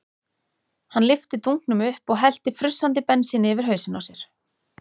Hann lyfti dunknum upp og hellti frussandi bensíni yfir hausinn á sér.